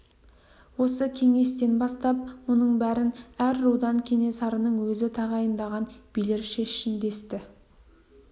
осы кеңестен бастап мұның бәрін әр рудан кенесарының өзі тағайындаған билер шешсін десті